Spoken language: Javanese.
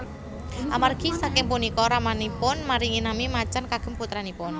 Amargi saking punika ramanipun maringi nami Macan kagem putranipun